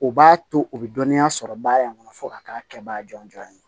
U b'a to u be dɔnniya sɔrɔ baara in kɔnɔ fo ka k'a kɛ baga jɔnjɔn ye